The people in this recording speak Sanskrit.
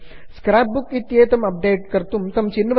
स्क्राप् बुक् इय्तेतम् अप्डेट् कर्तुं तं चिन्वन्तु